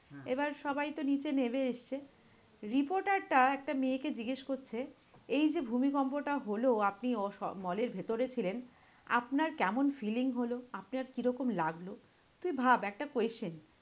এবার সবাই তো নীচে নেবে এসছে, reporter টা একটা মেয়েকে জিজ্ঞেস করছে? এই যে ভূমিকম্পটা হলো আপনি mall এর ভেতরে ছিলেন আপনার কেমন feeling হলো? আপনার কিরকম লাগলো? তুই ভাব একটা question?